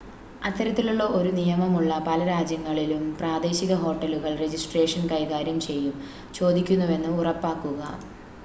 അത്തരത്തിലുള്ള ഒരു നിയമമുള്ള പല രാജ്യങ്ങളിലും പ്രാദേശിക ഹോട്ടലുകൾ രജിസ്ട്രേഷൻ കൈകാര്യം ചെയ്യും ചോദിക്കുന്നുവെന്ന് ഉറപ്പാക്കുക